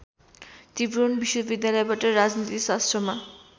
त्रिभुवन विश्वविद्यालयबाट राजनीतिशास्त्रमा